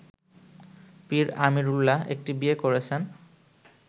পীর আমিরুল্লাহ একটি বিয়ে করেছেন